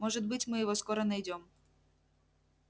может быть мы его скоро найдём